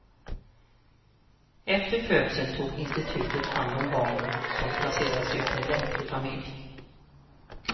Efter födseln tog institutet hand om barnen som placerades ut i en lämplig familj.